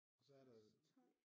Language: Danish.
Så er der